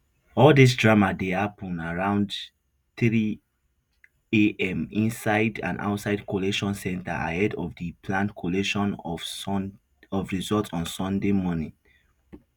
all dis drama dey happun around threeam inside and outside collation center ahead of di planned collation of results on sunday morning